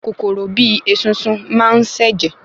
Kòkòrò bíi esunsun máa n se jẹ